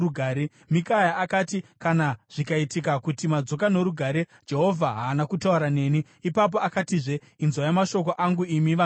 Mikaya akati, “Kana zvikaitika kuti madzoka norugare, Jehovha haana kutaura neni.” Ipapo akatizve, “Inzwai mashoko angu imi vanhu mose!”